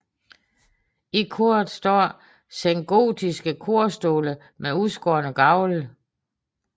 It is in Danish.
I koret står sengotiske korstole med udskårne gavle